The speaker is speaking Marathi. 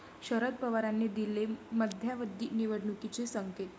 शरद पवारांनी दिले मध्यावधी निवडणुकीचे संकेत